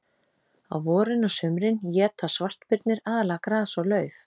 Á vorin og sumrin éta svartbirnir aðallega gras og lauf.